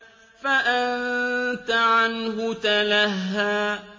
فَأَنتَ عَنْهُ تَلَهَّىٰ